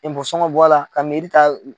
sɔngɔ bɔ a la ka ta